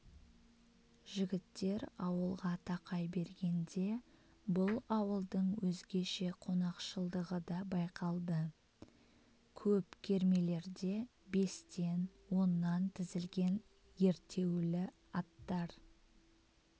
жігіттер ауылға тақай бергенде бұл ауылдың өзгеше қонақшылдығы да байқалды көп кермелерде бестен-оннан тізілген ерттеулі аттар